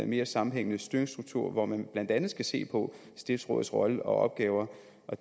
mere sammenhængende støttestruktur hvor man blandt andet skal se på stiftsrådets rolle og opgaver